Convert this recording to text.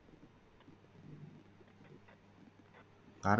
Bharat